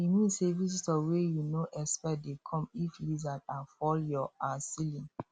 e mean say visitor wey you no expect dey come if lizard um fall your um ceiling